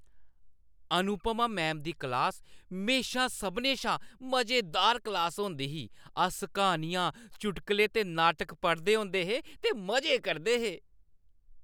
Anupama ma'am दी class म्हेशा सभनें शा मजेदार क्लास होंदी ही। अस क्हानियां, चुटकुले ते नाटक पढ़दे होंदे हे ते मजे करदे हे।